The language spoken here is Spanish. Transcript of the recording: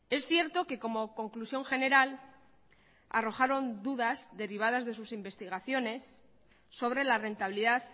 es cierto que como conclusión general arrojaron dudas derivadas de sus investigaciones sobre la rentabilidad